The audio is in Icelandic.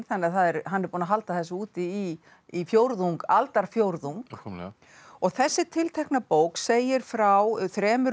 þannig að hann er búinn að halda þessu úti í í aldarfjórðung og þessi tiltekna bók segir frá þremur